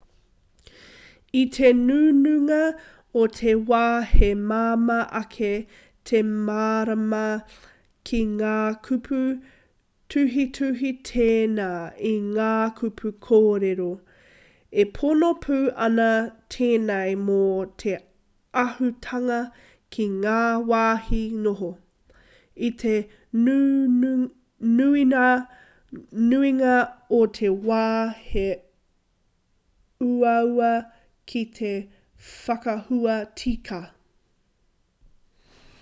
i te nuinga o te wā he māma ake te mārama ki ngā kupu tuhituhi tēnā i ngā kupu kōrero e pono pū ana tēnei mō te āhuatanga ki ngā wāhi noho i te nuinga o te wā he uaua ki te whakahua tika